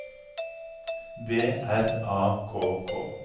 B R A K K